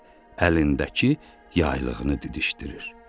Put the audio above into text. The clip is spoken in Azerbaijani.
Əlindəki yaylığını didişdirir.